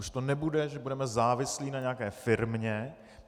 Už to nebude, že budeme závislí na nějaké firmě.